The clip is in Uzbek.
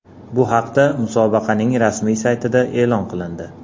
Bu haqda musobaqaning rasmiy saytida e’lon qilindi .